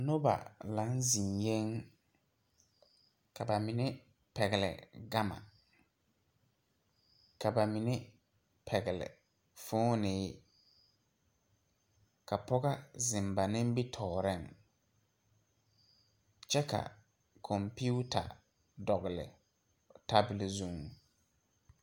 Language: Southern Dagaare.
Noba lang zeŋyeeŋ ka ba mine pɛgle gama ka ba mine pɛgle fooneehi ka pɔgɔ zeŋ ba nimitooreŋ kyɛ ka kɔmpiuta dɔgle tabol zuŋ.